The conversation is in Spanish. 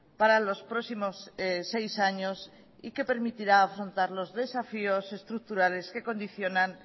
para los próximos seis años y que permitirá afrontar los desafíos estructurales que condicionan